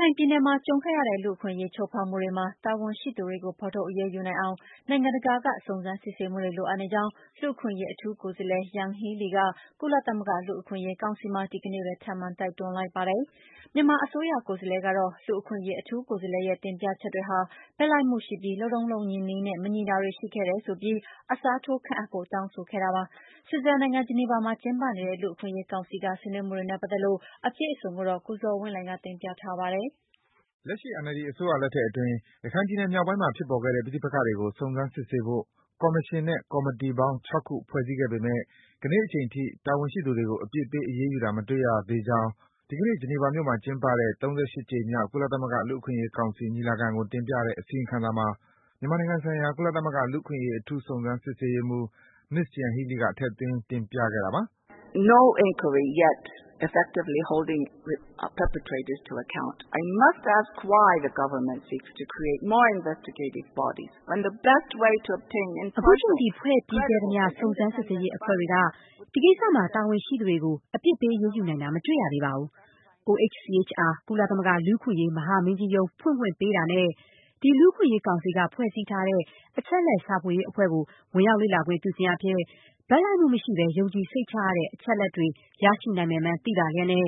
ခိုင်ပြည်နယ်မှာ ကြုံခဲ့ရတဲ့ လူ့အခွင့်အရေး ချိုးဖောက်မှုတွေမှာ တာဝန်ရှိသူတွေကို ဖော်ထုတ်အရေးယူနိုင်အောင် နိုင်ငံတကာက စုံစမ်းစစ်ဆေးမှုတွေ လိုအပ်နေကြောင်း လူ့အခွင့်အရေး အထူးကိုယ်စားလှယ် Yanghee Lee က ကုလသမဂ္ဂ လူ့အခွင့်အရေး ကောင်စီမှာ ဒီနေ့ပဲ ထပ်မံတိုက်တွန်းလိုက်ပါတယ်။ မြန်မာအစိုးရ ကိုယ်စားလှယ်ကတော့ လူ့အခွင့်အရေး အထူးကိုယ်စားလှယ်ရဲ့ တင်ပြချက်တွေဟာ ဘက်လိုက်မှုရှိပြီး လုပ်ထုံးလုပ်နည်းနဲ့ မညီတာတွေရှိခဲ့တယ်ဆိုပြီး အစားထိုးခန့်အပ်ဖို့ တောင်းဆိုခဲ့တာပါ။ ဆွစ်ဇာလန်နိုင်ငံ၊ ဂျနီဗာမှာ ကျင်းပနေတဲ့ လူ့အခွင့်အရေးကောင်စီက ဆွေးနွေးမှုတွေနဲ့ ပတ်သက်လို့ အပြည့်အစုံကိုတော့ ကိုဇော်ဝင်းလှိုင်က တင်ပြပေးမှာ ဖြစ်ပါတယ်။ လက်ရှိ NLD အစိုးရလက်ထက်အတွင်း ရခိုင်ပြည်နယ် မြောက်ပိုင်းမှာ ဖြစ်ပေါ်ခဲ့တဲ့ ပဋိပက္ခတွေကို စုံစမ်း စစ်ဆေးဖို့ ကော်မရှင်နဲ့ ကော်မီတီပေါင်း ၆ ခု ဖွဲ့စည်းခဲ့ပေမယ့် ကနေ့အချိန်ထိ တာဝန်ရှိသူတွေကို အပြစ်ပေး အရေးယူတာ မတွေ့ရကြောင်း ဒီကနေ့ ဂျနီဗာမြို့မှာ ကျင်းပတဲ့ ၃၈ ကြိမ်မြောက် ကုလသမဂ္ဂ လူ့အခွင့်အရေးကောင်စီ ညီလာခံ ကို တင်ပြတဲ့ အစီရင်ခံစာမှာ မြန်မာနိုင်ငံဆိုင်ရာ ကုလသမဂ္ဂ လူ့အခွင့်အရေး အထူးစုံစမ်း စစ်ဆေးရေးမှူး Ms. Yanhee Lee က ထည့်သွင်း တင်ပြခဲ့တာပါ။ “အခုချိန်ထိ ဖွဲ့ပြီးခဲ့သမျှ စုံစမ်းစစ်ရေးအဖွဲ့တွေက ဒီကိစ္စမှာ တာဝန်ရှိသူတွေကို အပြစ်ပေး အရေးယူနိုင်တာ မတွေ့ရသေးပါဘူး။ OHCHR ကုလသမဂ္ဂ လူ့အခွင့်အရေး မဟာမင်းကြီးရုံး ဖွင့်ခွင့်ပေးတာနဲ့ ဒီ လူ့အခွင့်အရေးကောင်စီက ဖွဲ့စည်းထားတဲ့ အချက်အလက် ရှာဖွေရေးအဖွဲ့ကို ဝင်ရောက် လေ့လာခွင့် ပြုခြင်းအားဖြင့် ဘက်လိုက်မှုမရှိဘဲ ယုံကြည်စိတ်ချရတဲ့ အချက်အလက်တွေ ရရှိနိုင်မယ်မှန်း သိပါလျှက်နဲ့